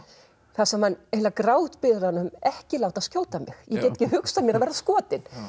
þar sem hann eiginlega grátbiður hann ekki láta skjóta mig ég get ekki hugsað mér að vera skotinn